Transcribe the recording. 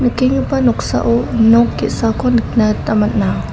noksao nok ge·sako nikna gita man·a.